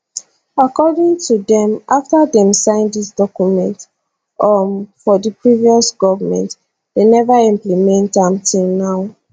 according to dem afta dem sign dis document um for di previous goment dem neva implement am till now